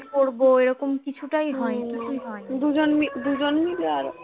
স্নান করবো এরকম কিছুতেই হয়নি দুজন মিলে আর